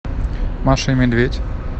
маша и медведь